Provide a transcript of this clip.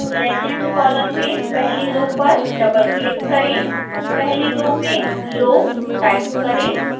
legend column में पहली row पर डबलक्लिक करें